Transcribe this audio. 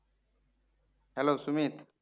Hello Sumit